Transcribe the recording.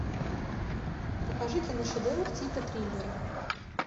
покажи киношедевр типа триллеры